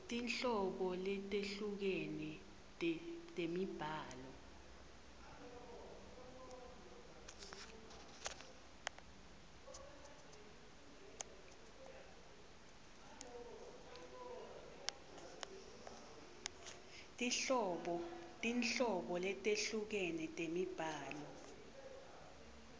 tinhlobo letehlukene temibhalo